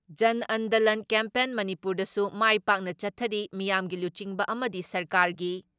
ꯖꯟ Andolan campaign ꯃꯅꯤꯄꯨꯔꯗꯁꯨ ꯃꯥꯏ ꯄꯥꯛꯅ ꯆꯠꯊꯔꯤ ꯃꯤꯌꯥꯝꯒꯤ ꯂꯨꯆꯤꯡꯕ ꯑꯃꯗꯤ ꯁꯔꯀꯥꯔꯒꯤ